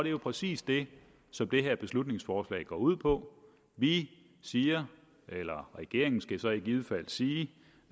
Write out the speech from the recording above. jo præcis det som det her beslutningsforslag går ud på vi siger eller regeringen skal så i givet fald sige